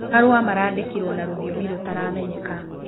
Marũa marandĩkĩrwo na rũthĩomĩ rũtaramenyeka.